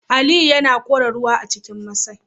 Aliyu yana kora ruwa a cikin masai